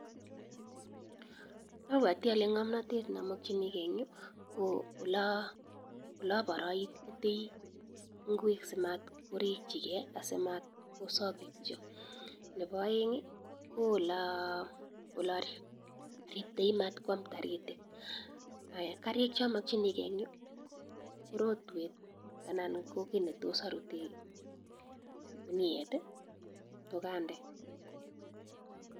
Abwote olee ngomnotet nomokyinike en yuu ko loboroititoi ingwek asimat korikyike asimatko sokitio, nebo oeng ko oleribtoi matkwam toritik, karik chomokyinike en yuu ko rotwet anan ko kii netos oruten kinuet kokonde.